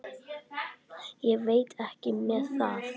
Ég veit ekki með það.